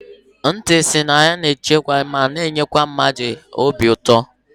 Nti si na ya na echekwa ma na -enye mmadụ obi ụtọ.